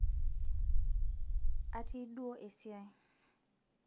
atii duo esiai